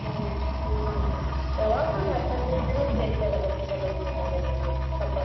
ಹ್ಮ್. ಯಾವಾಗು ಒಂದ ಹತ್ತ ಹದಿನೈದ ಜನಾ ಸೇರತೇವಲ್ಲಾ ಚಿಕ್ಕಮ್ಮ ನಿಮ್ ಮನೇಲಿ ಈಗ ನಾವು ಹಬ್ಬಕ್ಕ?